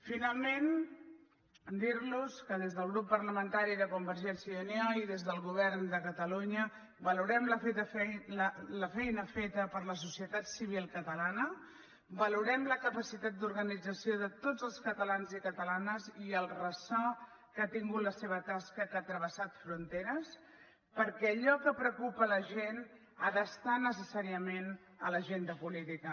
finalment dir los que des del grup parlamentari de convergència i unió i des del govern de catalunya valorem la feina feta per la societat civil catalana valorem la capacitat d’organització de tots els catalans i catalanes i el ressò que ha tingut la seva tasca que ha travessat fronteres perquè allò que preocupa la gent ha d’estar necessàriament a l’agenda política